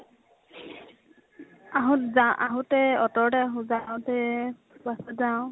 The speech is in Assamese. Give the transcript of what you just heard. আহোত যা, আহোতে অতো তে আহো । যাওঁতে bus ত যাওঁ ।